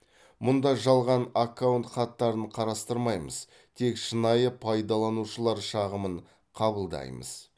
мұнда жалған аккаунт хаттарын қарастырмаймыз тек шынайы пайдаланушылар шағымын қабылдаймыз